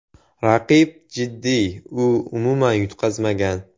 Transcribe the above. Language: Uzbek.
Raqib jiddiy, u umuman yutqazmagan !